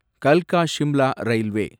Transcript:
கல்கா Shimla railway